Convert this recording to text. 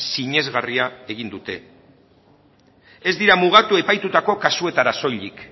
sinesgarria egin dute ez dira mugatu epaitutako kasuetara soilik